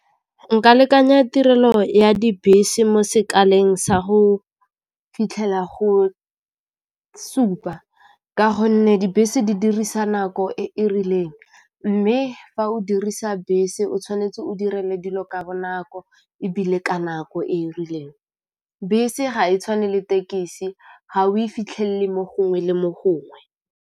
Nka lekanya tirelo ya dibese mo sekaleng sa go fitlhela go supa ka gonne dibese di dirisa nako e e rileng, mme fa o dirisa bese o tshwanetse o dire dilo ka bonako ebile ka nako e e rileng, bese ga e tshwane le tekisi ga o e fitlhelele mo gongwe le mo gongwe.